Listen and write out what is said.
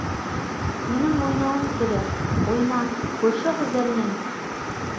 менің ойнауым керек ойна көрші қыздармен ойнамаймын олармен олар мені кемсітті арал болған жайды ызаға булығып